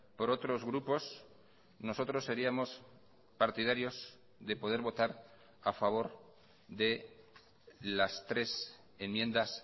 por otros grupos nosotros seríamos partidarios de poder votar a favor de las tres enmiendas